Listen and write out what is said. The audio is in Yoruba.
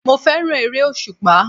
Mo fẹ́ràn ère-òṣùpá.